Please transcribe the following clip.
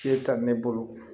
Se ta ne bolo